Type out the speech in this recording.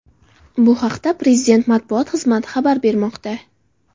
Bu haqda Prezidenti matbuot xizmati xabar bermoqda .